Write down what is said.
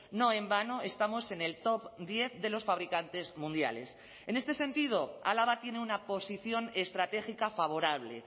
no en vano estamos en el top diez de los fabricantes mundiales en este sentido álava tiene una posición estratégica favorable